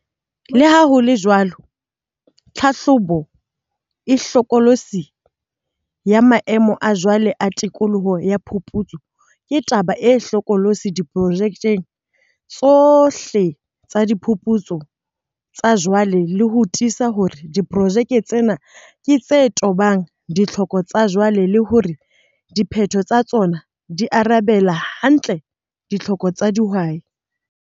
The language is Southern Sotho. Le ha ho le jwalo, tlhahlobo e hlokolosi yamaemo a jwale a tikoloho ya phuputso ke taba e hlokolosi diprojekeng tsohle tsadiphuputso tsa jwale ho tiisa hore diprojeke tsena ke tse tobang ditlhoko tsajwale le hore diphetho tsa tsona di arabela hantle ditlhoko tsa dihwai.